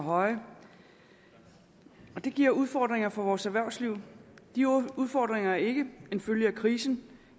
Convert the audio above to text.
høje og det giver udfordringer for vores erhvervsliv de udfordringer er ikke en følge af krisen